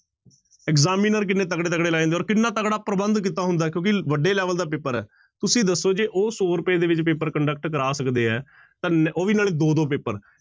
Examiner ਕਿੰਨੇ ਤਕੜੇ ਤਕੜੇ ਲਾਏ ਹੁੰਦੇ ਆ ਔਰ ਕਿੰਨਾ ਤਕੜਾ ਪ੍ਰਬੰਧ ਕੀਤਾ ਹੁੰਦਾ ਹੈ ਕਿਉਂਕਿ ਵੱਡੇ level ਦਾ ਪੇਪਰ ਹੈ, ਤੁਸੀਂ ਦੱਸੋ ਜੇ ਉਹ ਸੌ ਰੁਪਏ ਦੇ ਵਿੱਚ ਪੇਪਰ conduct ਕਰਵਾ ਸਕਦੇ ਹੈ ਤਾਂ, ਉਹ ਵੀ ਨਾਲੇ ਦੋ ਦੋ ਪੇਪਰ।